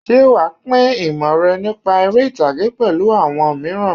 Ṣé wàá pín ìmọ̀ rẹ nípa eré-ìtàgé pẹ̀lú àwọn mìíràn?